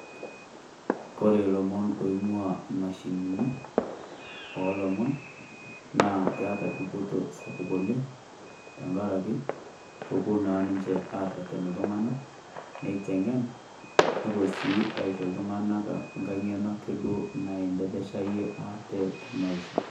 Kore ilomon loing'ua imashinini oolomon naa keeta dupoto sapuk oleng' amu kepuo naa ninye aarreten iltung'anak neiteng'en, nepuo naa duo aisho iltung'anak angae ng'eno neanteleya iyie te Maisha.